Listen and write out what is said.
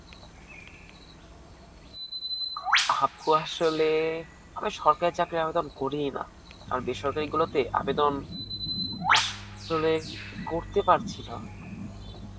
আপু, আসলে আমি সরকারী চাকরীর আবেদন করিই না. আর বেসরকারীগুলোতে, আবেদন আসলে করতে পারছিনা.